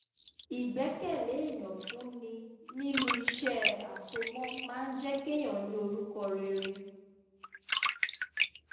ìgbẹ́kẹ̀lé èyàn fún ni nínú iṣẹ́ àsomọ́ máa ń jẹ́ kéèyàn ní orúkọ rere